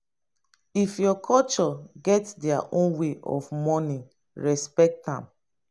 if your culture get their own way of mourning respect am